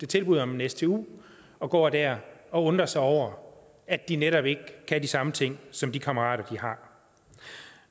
tilbud om en stu og går der og undrer sig over at de netop ikke kan de samme ting som de kammerater de har